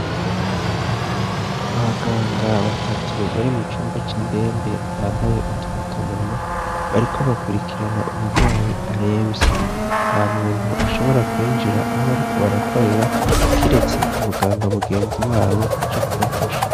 abaganga batatu bari mu cumba c'indembe bambaye utufukamunwa bariko bakurikirana umugwayi aremvye nta muntu ashobora kwinjira aho bariko barakorera kiretse umuganga mugenziwabo aje kubafasha